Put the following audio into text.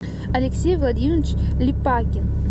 алексей владимирович липакин